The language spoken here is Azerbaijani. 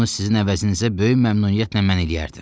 Bunu sizin əvəzinizə böyük məmnuniyyətlə mən eləyərdim.